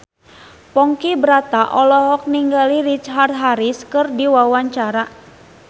Ponky Brata olohok ningali Richard Harris keur diwawancara